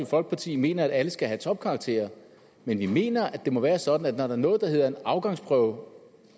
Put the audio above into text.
folkeparti mener at alle skal have topkarakterer men vi mener at det må være sådan at når der er noget der hedder en afgangsprøve